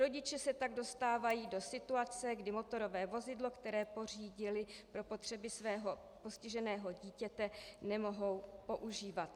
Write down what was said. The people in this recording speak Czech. Rodiče se tak dostávají do situace, kdy motorové vozidlo, které pořídili pro potřeby svého postiženého dítěte, nemohou používat.